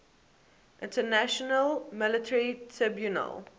international military tribunal